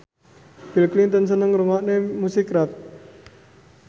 Bill Clinton seneng ngrungokne musik rap